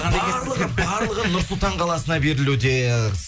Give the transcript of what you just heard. барлығы барлығы нұр сұлтан қаласына берілуде